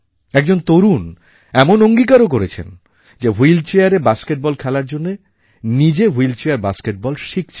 একজন তরুণ এমন অঙ্গীকারও করেছেন যে হুইলচেয়ারে বাস্কেটবল খেলার জন্য নিজে হুইলচেয়ার বাস্কেটবল শিখছেন